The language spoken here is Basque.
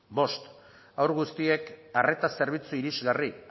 bost haur guztiek arreta zerbitzu irisgarri